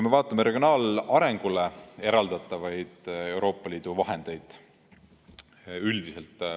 Vaatame regionaalarengule eraldatavaid Euroopa Liidu vahendeid üldiselt.